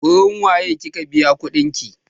Wurin wa ye kika biya kuɗin ki?